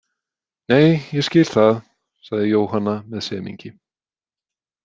Nei, ég skil það, sagði Jóhanna með semingi.